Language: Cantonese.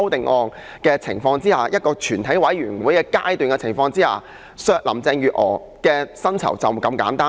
我們要在全體委員會審議階段提出修正案削減林鄭月娥的薪酬，就是這麼簡單。